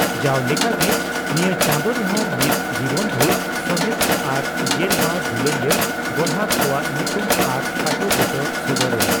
ᱡᱟᱣ ᱞᱮᱠᱟᱜᱮ ᱱᱤᱭᱟᱹ ᱪᱟᱸᱫᱚ ᱨᱮᱦᱚᱸ ᱢᱤᱫ ᱡᱤᱵᱚᱱᱵᱷᱩᱨ ᱥᱟᱦᱮᱛ ᱟᱨ ᱜᱮᱞ ᱵᱟᱨ ᱫᱩᱞᱟᱹᱲᱤᱭᱟᱹ ᱜᱚᱨᱦᱟᱠ ᱠᱚᱣᱟᱜ ᱧᱩᱛᱩᱢ ᱟᱨ ᱠᱷᱟᱴᱚ ᱵᱩᱴᱟᱹ ᱥᱚᱫᱚᱨ ᱮᱱᱟ ᱾